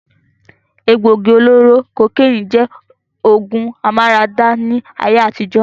Egbògi olóró kokénì jẹ́ ògùn amára dá ní ayé àtijọ́.